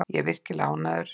Ég er virkilega ánægður.